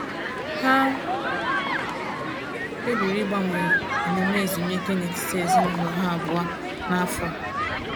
Ha kpebiri ịgbanwe emume ezumike n’etiti ezinụlọ ha abụọ n’afọ a.